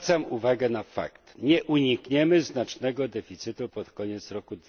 Zwracam uwagę na fakt, że nie unikniemy znacznego deficytu pod koniec roku